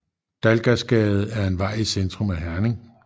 Dalgasgade er en vej i centrum af Herning